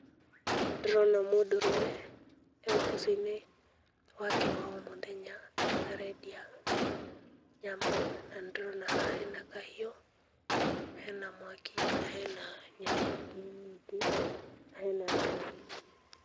Ndĩrona mũndũrũme, e ũboco-inĩ wake wa o mũthenya, arendia nyama, na nĩndĩrona haha hena kahiũ, hena mwaki, na hena nyama ingĩ nyingĩ, na hena andũ.